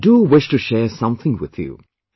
But I do wish to share something with you